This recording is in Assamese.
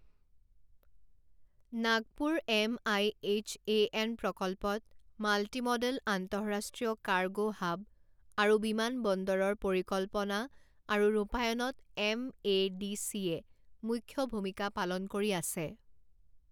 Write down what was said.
Nagpur M I H A N প্ৰকল্পত মাল্টি মডেল আন্তঃৰাষ্ট্ৰীয় কাৰ্গো হাব আৰু বিমানবন্দৰৰ পৰিকল্পনা আৰু ৰূপায়ণত এমএডিচিয়ে মুখ্য ভূমিকা পালন কৰি আছে।